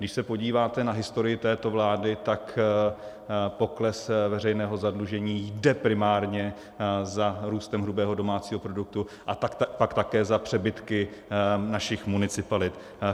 Když se podíváte na historii této vlády, tak pokles veřejného zadlužení jde primárně za růstem hrubého domácího produktu a pak také za přebytky našich municipalit.